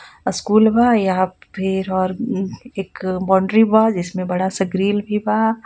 School बा यहा पर फिर और उ-एक बाउंड्री बा जिसमे बड़ा सा ग्रील भी बा.